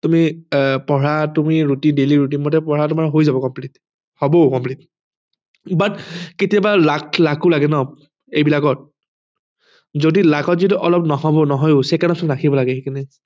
তুমি পঢ়া তুমি routine তুমি daily routine মতে পঢ়া তোমাৰ হৈ যাব complete হবও complete but কেতিয়াবা luck ও লাগে ন এইবিলাকত যদি luck ত যদি অলপ নহব নহয় ও second option ৰাখিব লাগে সেইকাৰণে